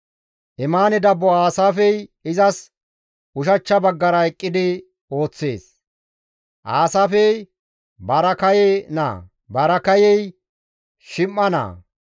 Emaane dabbo Aasaafey izas ushachcha baggara eqqidi ooththees; Aasaafey Baraakaye naa; Baraakayey Shim7a naa;